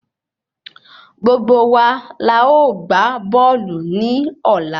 Gbogbo wa la ọ gbà bóòlù ni ola